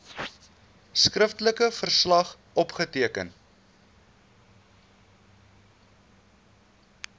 skriftelike verslag opgeteken